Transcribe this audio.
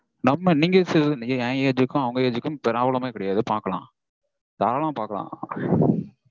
நம்ம நீங்க என் age க்கும் அவங்க age க்கும் problem ஏ கெடையாது பாக்கலாம். தாராளமா பாக்கலாம்